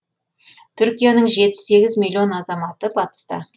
түркияның жеті сегіз миллион азаматы батыста